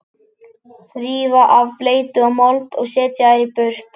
Þrífa af bleytu og mold og setja þær í þurrt.